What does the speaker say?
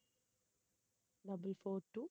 double four two